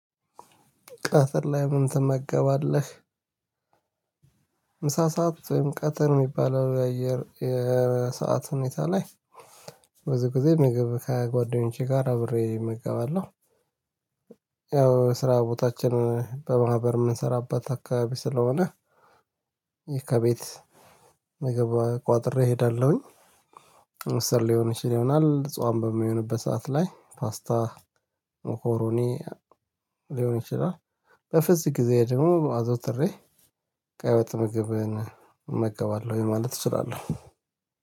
ቀትር ላይ ምን ትመገባለህ? ምሳ ሰዓት ወይም ቀትር የሚባል አየር የሰዓት ሁኔታ ላይ። ብዙ ጊዜ ምግብ ከጓደኞቼ ጋር አብሬ እገባለሁ መገባለሁ። ያው ስራ ቦታችን በማህበር የምንሰራበት አካባቢ ስለሆነ። ይሄ ከቤት ምግብ ቋጥሬ እሄዳለሁኝ። ጾም ሊሆን ይችል ይሆናል ጾም በሚሆንበት ሰዓት ላይ ፓስታ ሞኮሮኒ ሊሆን ይችላል። በፍስክ ጊዜ ደግሞ አዘውትሬ ቀይ ወጥ ምግብን እመገባለሁ ማለት እችላለሁ።